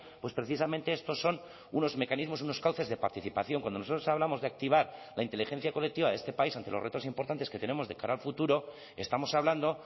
pues precisamente estos son unos mecanismos unos cauces de participación cuando nosotros hablamos de activar la inteligencia colectiva de este país ante los retos importantes que tenemos de cara al futuro estamos hablando